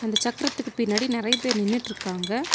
இந்த சக்கரத்துக்கு பின்னாடி நெறைய பேர் நின்னுட்ருக்காங்க.